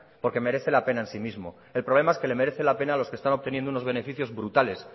porque merece la pena en sí mismo el problema es que le merece la pena a los que están obteniendo unos beneficios brutales